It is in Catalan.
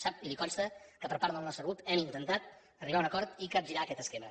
sap i li consta que per part del nostre grup hem intentat arribar a un acord i capgirar aquest esquema